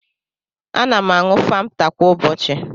Ana m aṅụ famta kwa ụbọchị.